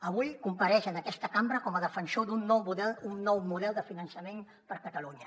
avui compareix en aquesta cambra com a defensor d’un nou model de finançament per catalunya